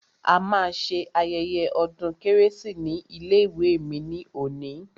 A ma ṣe ayẹyẹ ọdún kérésì ní ilé ìwé mi ní òní.